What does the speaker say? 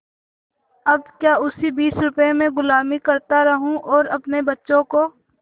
अब क्या इसी बीस रुपये में गुलामी करता रहूँ और अपने बच्चों को